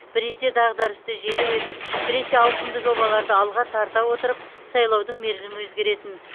біресе дағдарысты желеу етіп біресе ауқымды жобаларды алға тарта отырып сайлаудың мерзімі өзгеретін